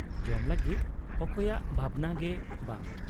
ᱡᱚᱢ ᱞᱟᱹᱜᱤᱫ ᱚᱠᱚᱭᱟᱜ ᱵᱷᱟᱵᱽᱱᱟ ᱜᱮ ᱵᱟᱝ ᱾